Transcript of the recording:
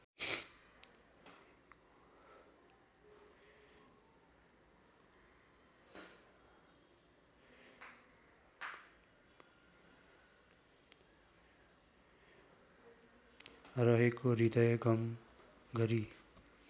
रहेको हृदयङ्गम गरी